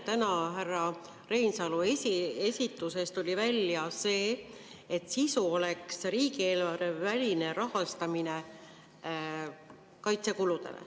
Täna härra Reinsalu esitlusest tuli välja see, et sisu oleks riigieelarveväline kaitsekulude rahastamine.